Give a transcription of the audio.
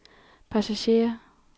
passagerer